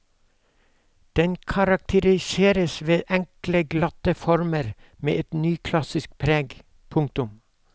Den karakteriseres ved enkle glatte former med et nyklassisk preg. punktum